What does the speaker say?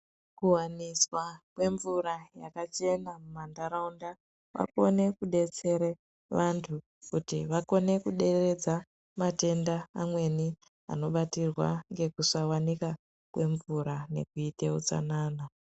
Kuwaniswa kwemvura yakachena mumantaraunda, kwakone kudetsere vantu kuti vakone kudereredza matenda amweni anobatirwa ngekusawanika kwemvura nekuite utsanana.